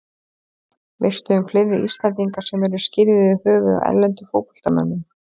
Veistu um fleiri Íslendinga sem eru skírðir í höfuðið á erlendum fótboltamönnum?